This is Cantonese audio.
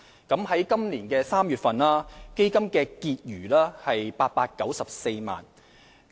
在今年3月，基金的結餘為894萬元。